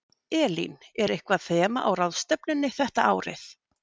Elín, er eitthvað þema á ráðstefnunni þetta árið?